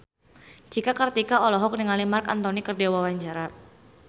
Cika Kartika olohok ningali Marc Anthony keur diwawancara